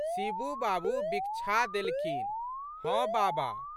शिबू बाबू बिकछा देलखिन। "हँ बाबा!